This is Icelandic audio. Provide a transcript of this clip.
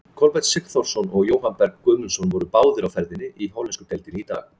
Kolbeinn Sigþórsson og Jóhann Berg Guðmundsson voru báðir á ferðinni í hollensku deildinni í dag.